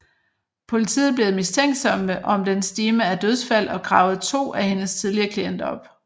Politiet blev mistænksomme om den stime af dødsfald og gravede to af hendes tidligere klienter op